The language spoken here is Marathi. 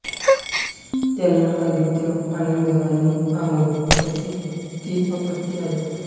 त्यांना आदित्यआनंद आणि आमोद अशी तीन अपत्ये आहेत